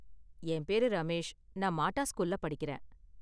என் பேரு ரமேஷ், நான் மாட்டா ஸ்கூல்ல படிக்கறேன்.